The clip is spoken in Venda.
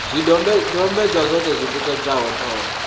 zwidodombedzwa zwoṱhe zwi tikedza ṱhoho